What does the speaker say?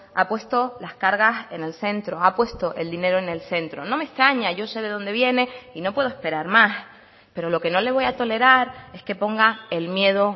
ha puesto las cargas en el centro ha puesto el dinero en el centro no me extraña yo sé de dónde viene y no puedo esperar más pero lo que no le voy a tolerar es que ponga el miedo